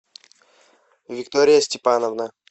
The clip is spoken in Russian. виктория степановна